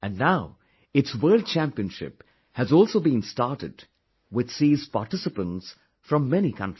And now, its World Championship has also been started which sees participants from many countries